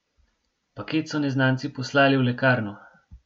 Paket so neznanci poslali v lekarno.